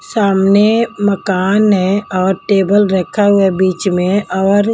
सामने मकान है और टेबल रखा हुआ है बीच में और--